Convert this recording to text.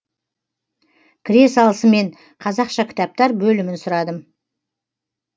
кіре салысымен қазақша кітаптар бөлімін сұрадым